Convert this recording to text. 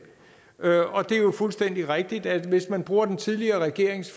er jo fuldstændig rigtigt at hvis man bruger den tidligere regerings